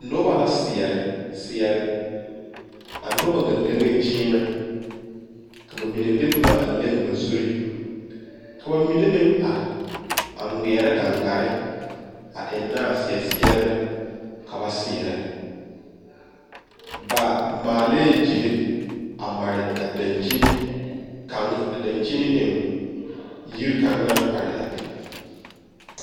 Noba la seɛre seɛrɛ a noba ŋa leŋ la kyimɛ ka ba mine de boma a leŋ ba zuri ka ba mine meŋ are a ŋmeɛrɛ gaŋ gare a enne a seɛ seɛrebɛ ka ba seɛre ba maali gyile a mare a dankyini kaŋ a dankyini eŋ yiri kaŋ naŋ are a be.